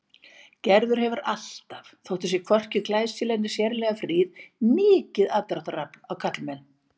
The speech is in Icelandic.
Gerður hefur alltaf, þótt hún sé hvorki glæsileg né sérlega fríð, mikið aðdráttarafl á karlmenn.